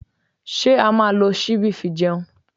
Ṣé a máa lo ṣíbí fi jẹun?